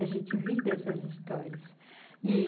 A gente ri essas histórias. e